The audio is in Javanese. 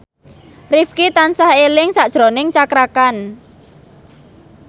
Rifqi tansah eling sakjroning Cakra Khan